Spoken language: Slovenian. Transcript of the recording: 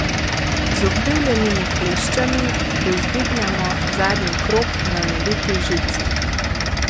Z ukrivljenimi kleščami privzdignemo zadnji krog na naviti žici.